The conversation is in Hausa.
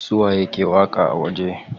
Su waye ke waƙa a waje?